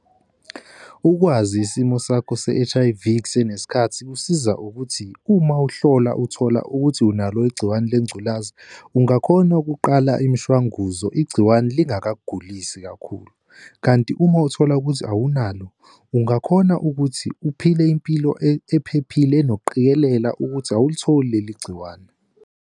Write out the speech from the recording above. Ukwazi isimo sakho se-H_I_V kusenesikhathi kusiza ukuthi uma uhlola uthola ukuthi unalo igciwane lengculaza, ungakhona ukuqala imishwanguzo igciwane lingakakugulisi kakhulu, kanti uma uthola ukuthi awunalo, ungakhona ukuthi uphile impilo ephephile enokuqikelela ukuthi awulitholi leli gciwane.